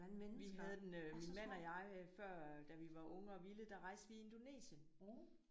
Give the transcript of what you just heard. Vi havde den øh min mand og jeg før da vi var unge og vilde der rejste vi i Indonesien